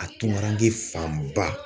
A tunkaranke fanba.